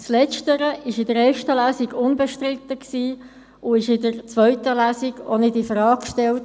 Letzteres war in der ersten Lesung unbestritten und wird auch in der zweiten Lesung nicht infrage gestellt.